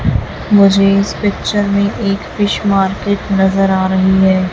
मुझे इस पिक्चर में एक फिश मार्केट नजर आ रही है।